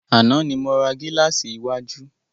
Àná ni mo ra gílàsì iwájú.